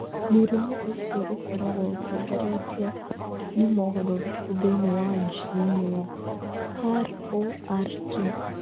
Mũrimũ ũcio ũkoragwo ũtongoretio nĩ mogarũrũku thĩinĩ wa jini ya ROR2.